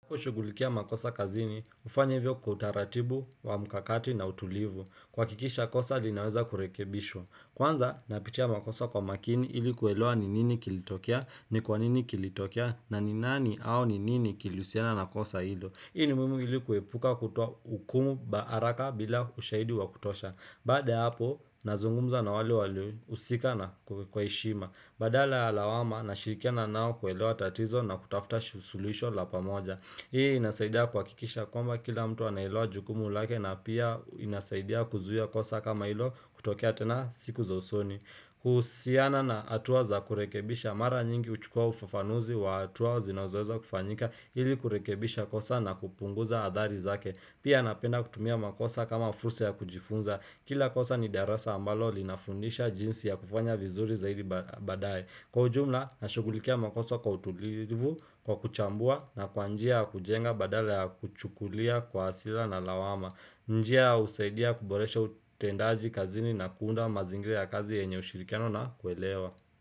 Kushughulikia makosa kazini, hufanya hivyo kwa utaratibu wa mkakati na utulivu. Kuhakikisha kosa linaweza kurekebisho. Kwanza, napitia makosa kwa makini ili kuelewa ni nini kilitokea ni kwa nini kilitokea na ni nani au ni nini kilihusiana na kosa hilo. Hii ni muhimu ili kuepuka kutoa hukumu baaraka bila ushaidi wa kutosha. Baada ya hapo, nazungumza na wale waliohusikana kwa heshima. Badala ya lawama nashirikia naa kuelewa tatizo na kutafuta su shulihisho la pamoja. Hii inasaidia kuhakikisha kwamba kila mtu anailewa jukumu lake na pia inasaidia kuzuia kosa kama ilo kutokea tena siku za usoni. Kuhusiana na hatua za kurekebisha mara nyingi huchukua ufafanuzi wa hatua zinawezoweza kufanyika ili kurekebisha kosa na kupunguza athari zake. Pia napenda kutumia makosa kama fursa ya kujifunza. Kila kosa ni darasa ambalo linafundisha jinsi ya kufanya vizuri zaidi ba baadaye. Kwa ujumla, nashukulikia makoso kwa utulivu, kwa kuchambua na kwa njia ya kujenga badala ya kuchukulia kwa hasira na lawama. Njia ausaidia kuboresha utendaji kazini na kuunda mazingira ya kazi yenye ushirikiano na kuelewa.